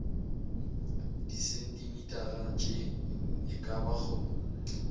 disentimetara tše e ka bago